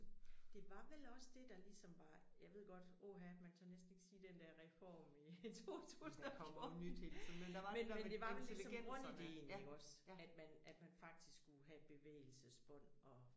Det var vel også det der ligesom var jeg ved godt åh ha man tør næsten ikke sige den der reform i 2014 men men det var vel ligesom grundidéen iggås at man at man faktisk skulle have bevægelsesbånd og